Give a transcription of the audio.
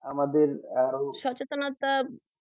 আমাদের আরো সচেনতা